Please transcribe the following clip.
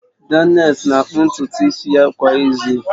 Daniels na-akpụ ntutu isi ya kwa izu